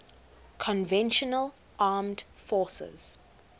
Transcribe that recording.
conventional armed forces